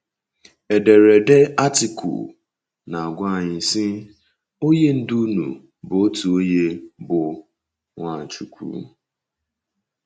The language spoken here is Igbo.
Ederede Artịkụ na - agwa anyị, sị: “ Onye Ndú unu bụ otu onye, bụ́ Nwachukwu. ”